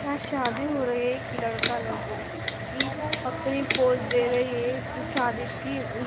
यहाँ शादी हो रही है एक लड़का लड़की अपने पोज दे रही है शादी की --